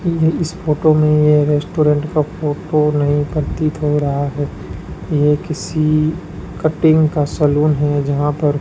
यह इस फोटो में ये रेस्टोरेंट का फोटो नहीं प्रतीत हो रहा है ये किसी कटिंग का सैलून है जहां पर --